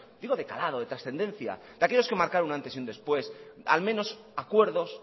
digo de calado de trascendencia de aquellos que marcaron un antes y un después al menos acuerdos